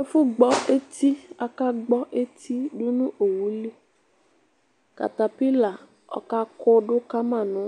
ɛfu gbɔ etiakagbɔ eti dunu owulikatabila ɔkakudu kama nu